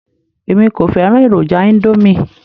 Èmi kò fẹ́ràn èròjà íńdómì.